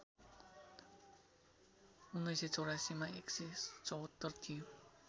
१९८४ मा १७४ थियो